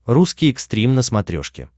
русский экстрим на смотрешке